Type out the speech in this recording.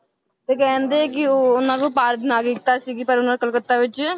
ਤੇ ਕਹਿੰਦੇ ਕਿ ਉਹ ਉਹਨਾਂ ਕੋਲ ਭਾਰਤ ਨਾਗਰਿਕਤਾ ਸੀਗੀ ਪਰ ਉਹਨਾਂ ਕੋਲਕੱਤਾ ਵਿੱਚ